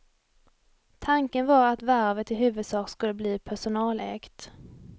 Tanken var att varvet i huvudsak skulle bli personalägt.